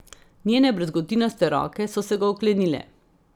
Njene brazgotinaste roke so se ga oklenile.